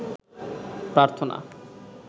প্রার্থনা